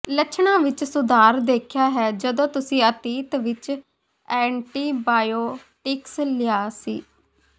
ਲੱਛਣਾਂ ਵਿੱਚ ਸੁਧਾਰ ਦੇਖਿਆ ਹੈ ਜਦੋਂ ਤੁਸੀਂ ਅਤੀਤ ਵਿੱਚ ਐਂਟੀਬਾਇਓਟਿਕਸ ਲਿਆ ਸੀ